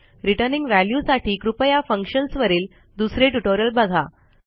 returning value साठी कृपया functions वरील दुसरे ट्युटोरियल बघा